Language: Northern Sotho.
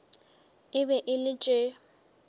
e be e le tše